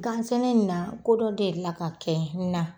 Gan sɛnɛ nin na ko dɔ delila ka kɛ na